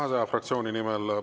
Suur tänu!